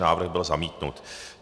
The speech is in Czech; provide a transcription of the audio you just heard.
Návrh byl zamítnut.